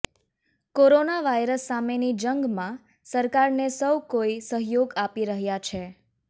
corona virus સામેની જંગમાં સરકારને સૌ કોઈ સહયોગ આપી રહ્યા છે